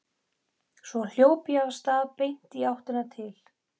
Svo hljóp ég af stað beint í áttina til